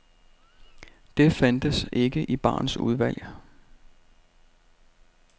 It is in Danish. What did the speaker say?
Det fandtes ikke i barens udvalg.